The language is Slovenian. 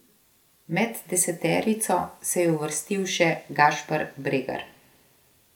Med deseterico se je uvrstil še Gašper Bregar.